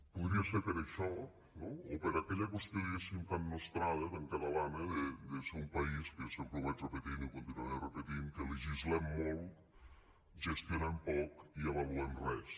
podria ser per això no o per aquella qüestió diguem ne tan nostrada tan catalana de ser un país que sempre ho vaig repetint i ho continuaré repetint que legislem molt gestionem poc i avaluem res